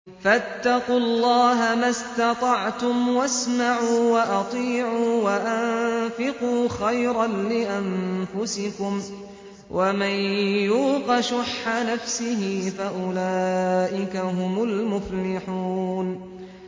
فَاتَّقُوا اللَّهَ مَا اسْتَطَعْتُمْ وَاسْمَعُوا وَأَطِيعُوا وَأَنفِقُوا خَيْرًا لِّأَنفُسِكُمْ ۗ وَمَن يُوقَ شُحَّ نَفْسِهِ فَأُولَٰئِكَ هُمُ الْمُفْلِحُونَ